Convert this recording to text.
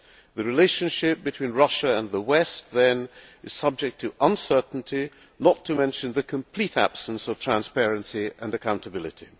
The relationship between Russia and the West, then, is subject to uncertainty, not to mention the complete absence of transparency and accountability.